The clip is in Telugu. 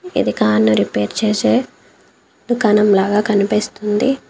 ఇది కార్ ను రిపేర్ చేసే దుకాణం లాగా కనిపిస్తుంది.